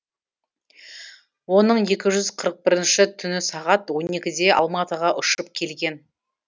оның екі жүз қырық бірінші түні сағат он екіде алматыға ұшып келген